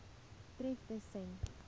tref tus sen